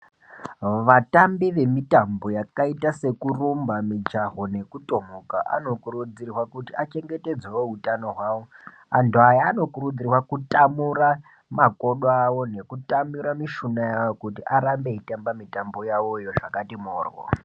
Vatambi vemitambo yakaita sekurumba, mijaho nekutomuka anokurudzirwa kuti achengetedzewo utano hwawo , antu aya anokurudzirwa kutamura makodo awo nekutmura mishina yawo kuti arambe veitamba mitambo yawoyo zvakati moryo.